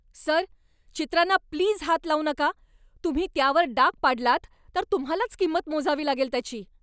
Sir, चित्रांना please हात लावू नका ! तुम्ही त्यावर डाग पाडलात तर तुम्हालाच किंमत मोजावी लागेल त्याची.